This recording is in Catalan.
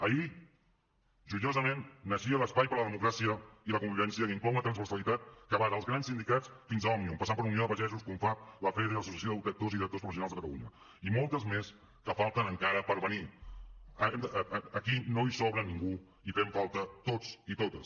ahir joiosament naixia l’espai per la democràcia i la convivència que inclou una transversalitat que va dels grans sindicats fins a òmnium passant per unió de pagesos confavc lafede l’associació d’actors i directors professionals de catalunya i moltes més que falten encara per venir aquí no hi sobra ningú hi fem falta tots i totes